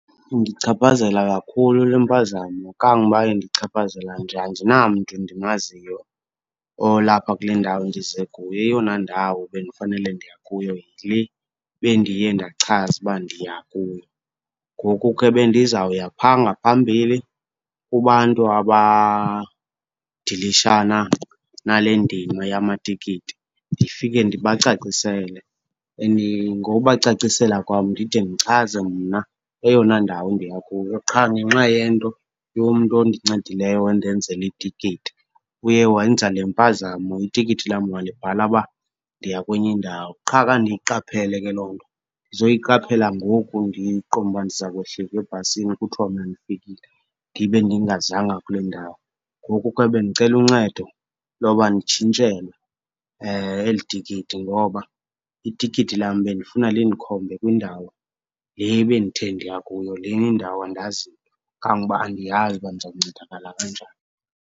Indichaphazela kakhulu le mpazamo. Kangoba indichaphazela nje andinamntu ndimaziyo olapha kule ndawo ndize kuyo, eyona ndawo bendifanele ndiya kuyo yile bendiye ndachaza uba ndiya kuyo. Ngoku ke bendizawuya phaa ngaphambili kubantu abadilishana nale ndima yamatikiti ndifike ndibacacisele. And ngobacacisela kwam ndide ndichaze mna eyona ndawo ndiya kuyo qha ngenxa yento yomntu ondincedileyo wandenzela itikiti uye wenza le mpazamo, itikiti lam walibhala uba ndiya kwenye indawo. Qha khange ndiyiqaphele ke loo nto, ndizoyiqaphela ngoku ndiqonda uba ndiza kwehlika ebhasini kuthwa mna ndifikile ndibe ndingazanga kule ndawo. Ngoku ke bendicela uncedo loba nditshintshelwe eli tikiti ngoba itikiti lam bendifuna lindikhombe kwindawo le bendithe ndiya kuyo. Lena indawo andazi mntu, kangoba andiyazi uba ndizawuncedakala kanjani.